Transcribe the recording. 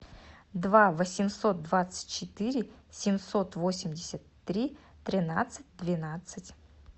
два восемьсот двадцать четыре семьсот восемьдесят три тринадцать двенадцать